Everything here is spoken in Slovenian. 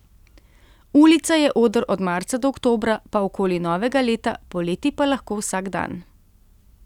Ulica je oder od marca do oktobra, pa okoli novega leta, poleti pa lahko vsak dan.